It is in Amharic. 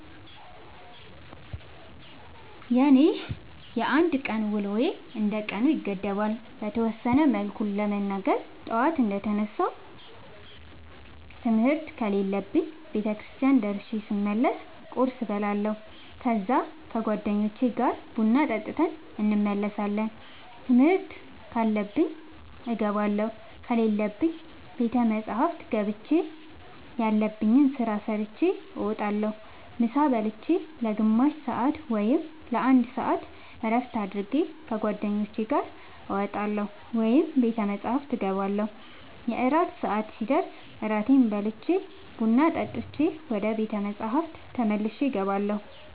የኔ የአንድ ቀን ውሎዬ እንደ ቀኑ ይገደባል። በተወሰነ መልኩ ለመናገር ጠዋት እንደ ተነሳሁ ትምህርት ከሌለብኝ ቤተክርስቲያን ደርሼ ስመለስ ቁርስ እበላለሁ ከዛ ከ ጓደኞቼ ጋር ቡና ጠጥተን እንመለሳለን ትምህርት ካለብኝ እገባለሁ ከሌለብኝ ቤተ መፅሐፍ ገብቼ ያለብኝን ስራ ሰርቼ እወጣለሁ። ምሳ ብልቼ ለ ግማሽ ሰአት ወይም ለ አንድ ሰአት እረፍት አድርጌ ከ ጓደኞቼ ጋር እወጣለሁ ወይም ቤተ መፅሐፍ እገባለሁ። የእራት ሰአት ሲደርስ እራቴን በልቼ ቡና ጠጥቼ ወደ ቤተ መፅሐፍ ተመልሼ እገባለሁ።